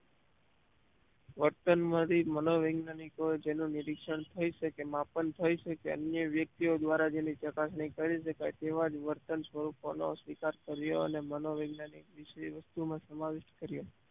વર્તનમાંથી મનોવૈજ્ઞાનિકો એ જેનું નિરીક્ષણ થઈ શકે માપન થઈ શકે અન્ય વ્યક્તિઓ દ્વારા જેની ચકાસણી કરી શકાય તેવા વર્તન સ્વરૂપોનો સ્વીકાર કર્યો અને મનોવૈજ્ઞાનિક વિશે એ વસ્તુમાં સમાવેશ કર્યો